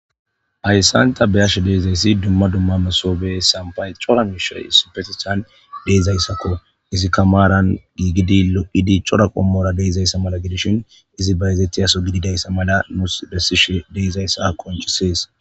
hayssan ta beyashe de'izayssi dumma dumma mesobey ,sampay cora mishe issipetisan de'izayssakko izi kamaran giigidi lo7idi cora qommora de'izayssa mala gidishin izi bayzetiyaso gididayssa mala nuus bessishe deezayssa konchisees